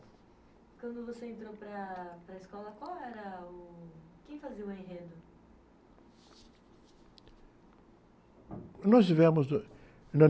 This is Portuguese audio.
Quando você entrou para a, para a escola, qual era o, quem fazia o enredo?ós tivemos...